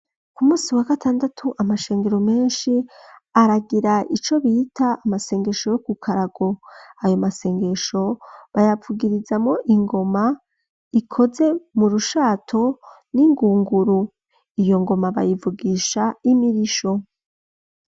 Ku munsi wa gatandatu, amashengero menshi, aragira, ico bita: "amasengesho yo ku karago"; ayo masengesho, bayavugirizamwo ingoma, ikoze mu rushato, n'ingunguru; iyo ngoma, bayivugisha, imirisho.